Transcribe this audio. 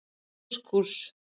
Kús Kús.